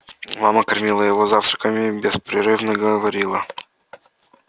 мама кормила его завтраком и беспрерывно говорила